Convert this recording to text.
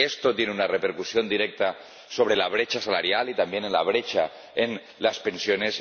Esto tiene una repercusión directa sobre la brecha salarial y también en la brecha en las pensiones.